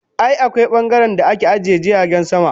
I, akwai bangaren da ake ajiye jiragen sama.